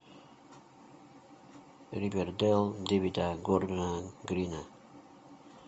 ривердэйл дэвида гордона грина